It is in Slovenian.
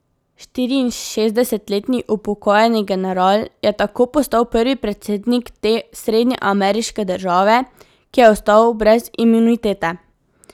Štiriinšestdesetletni upokojeni general je tako postal prvi predsednik te srednjeameriške države, ki je ostal brez imunitete.